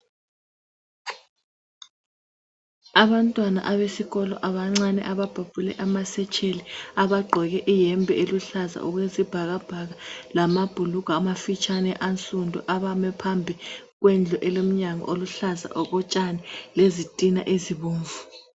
Abantwana abesikolo abancane ababhabhule amasetsheli, abagqoke iyembe eluhlaza okwesibhakabhaka lamabhulugwe amafitshane ansundu abame phambi kwendku elomnyango oluhlaza okotshani lezitina ezibomvu.